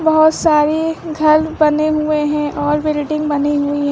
बहोत सारे घर बने हुए हैं और बिल्डिंग बनी हुई--